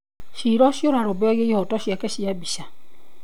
Cira ũcio ũrarũmbũyagia ihooto ciake cia mbica.